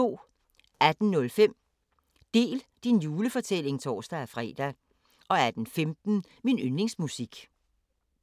18:05: Del din julefortælling (tor-fre) 18:15: Min yndlingsmusik